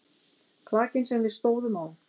Klakinn sem við stóðum á.